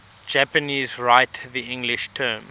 japanese write the english term